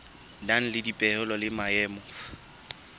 nang le dipehelo le maemo